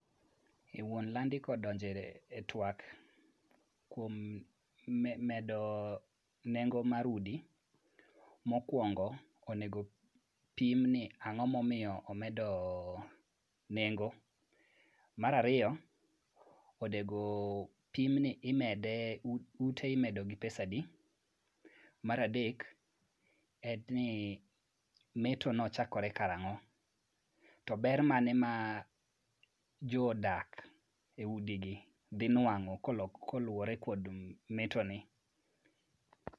Wuon landi kodonjo e twak kuom medo nengo mar udi, mokwongo, onego pimni ang'o momiyo omedo nengo. Mar ariyo, onego opimni ute imedo gi pesadi. Mar adek en ni metono chakore kar ang'o, to ber mane ma jodak e udigi dhi nwang'o koluwore kod metoni.